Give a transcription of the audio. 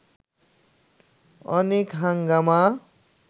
অনেক হাঙ্গামা